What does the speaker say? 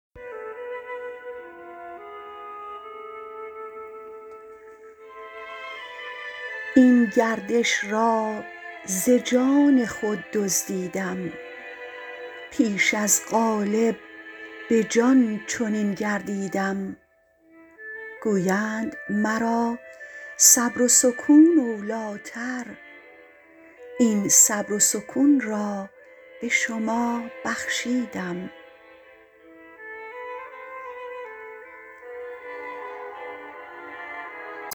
این گردش را ز جان خود دزدیدم پیش از قالب به جان چنین گردیدم گویند مرا صبر و سکون اولیتر این صبر و سکون را به شما بخشیدم